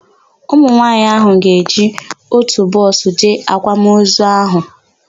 Ụmụnwaanyị áhụ̀ ga-eji ótù bọọsụ jee àkwàmozu áhụ̀.